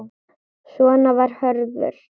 Svona var Hörður.